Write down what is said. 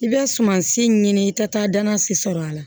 I bɛ sumansi ɲini i tɛ taa danan si sɔrɔ a la